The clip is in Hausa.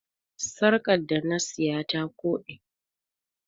Sarƙa da na siya ta koɗe.